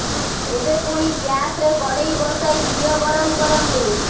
ଏବେ ପୁଣି ଗ୍ୟାସରେ କଡ଼େଇ ବସାଇ ଘିଅ ଗରମ କରନ୍ତୁ